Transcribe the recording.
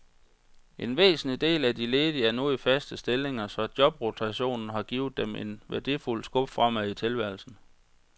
En væsentlig del af de ledige er nu i faste stillinger, så jobrotationen har givet dem et værdifuldt skub fremad i tilværelsen.